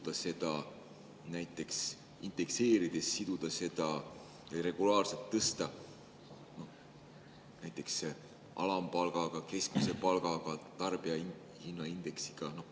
Kas ei võiks näiteks indekseerides seda regulaarselt tõsta ja siduda näiteks alampalgaga, keskmise palgaga, tarbijahinnaindeksiga?